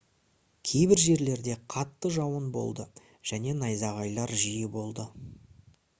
кейбір жерлерде қатты жауын болды және найзағайлар жиі болды